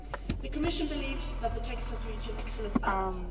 The Commission believes that the text has reached an excellent balance.